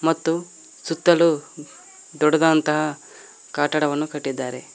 ಮತ್ತು ಸುತ್ತಲೂ ದೊಡ್ಡಾದಾದಂತಹ ಕಟ್ಟಡವನ್ನು ಕಟ್ಟಿದ್ದಾರೆ.